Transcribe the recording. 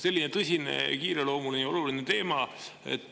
Selline tõsine, kiireloomuline, oluline teema.